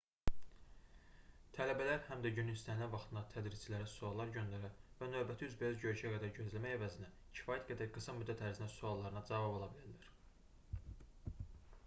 tələbələr həm də günün istənilən vaxtında tədrisçilərə suallar göndərə və növbəti üzbəüz görüşə qədər gözləmək əvəzinə kifayət qədər qısa müddət ərzində suallarına cavab ala bilərlər